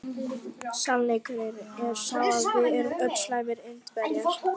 Sannleikurinn er sá að við erum öll slæmir Indverjar.